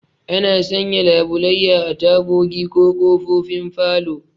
Ana sanya labulayya a tagogi da ƙofofin falo